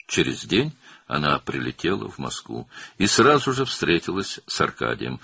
Bir gün sonra o, Moskvaya uçdu və dərhal Arkadi ilə görüşdü.